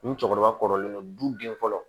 Ni cɛkɔrɔba kɔrɔlen don du den fɔlɔ